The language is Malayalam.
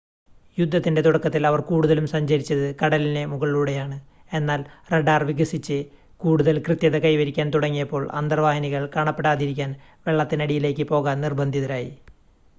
യുദ്ധത്തിൻ്റെ തുടക്കത്തിൽ അവർ കൂടുതലും സഞ്ചരിച്ചത് കടലിനു മുകളിലൂടെയാണ് എന്നാൽ റഡാർ വികസിച്ച് കൂടുതൽ കൃത്യത കൈവരിക്കാൻ തുടങ്ങിയപ്പോൾ അന്തർവാഹിനികൾ കാണാപ്പെടാതിരിക്കാൻ വെള്ളത്തിനടിയിലേക്ക് പോകാൻ നിർബന്ധിതരായി